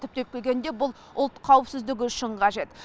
түптеп келгенде бұл ұлт қауіпсіздігі үшін қажет